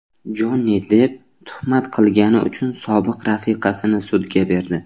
Jonni Depp tuhmat qilgani uchun sobiq rafiqasini sudga berdi.